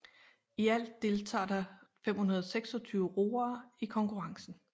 I alt deltager der 526 roere i konkurrencen